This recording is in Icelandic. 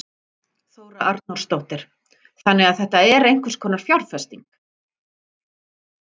Þóra Arnórsdóttir: Þannig að þetta er einhvers konar fjárfesting?